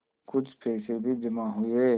कुछ पैसे भी जमा हुए